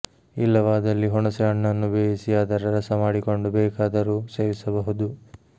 ಇಲ್ಲವಾದಲ್ಲಿ ಹುಣಸೆ ಹಣ್ಣನ್ನು ಬೇಯಿಸಿ ಅದರ ರಸ ಮಾಡಿಕೊಂಡು ಬೇಕಾದರು ಸೇವಿಸಬಹುದು